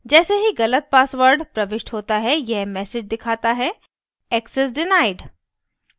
जैसे ही गलत password प्रविष्ट होता है यह message दिखाता है access denied